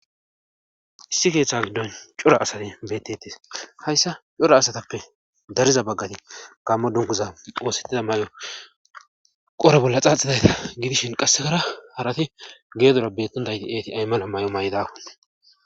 Issi keeththa giddon cora asati betete hayssa cora asatappe dariza baggati kammo dunguza oosettida may'o qore bolla xaaxidayta gidishin qassekara harati geedora bettundayti eeti aymana may'o may'dau